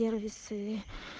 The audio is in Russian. сервисы